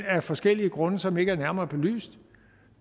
af forskellige grunde som ikke er nærmere belyst